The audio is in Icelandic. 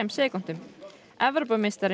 sekúndum